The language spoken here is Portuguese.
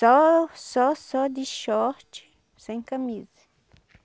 Só, só, só de short, sem camisa.